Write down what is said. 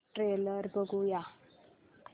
trailer बघूया